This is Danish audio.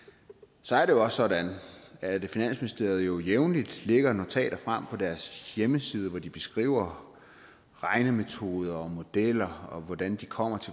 så er det jo også sådan at finansministeriet jævnligt lægger notater frem på deres hjemmeside hvor de beskriver regnemetoder og modeller og hvordan de kommer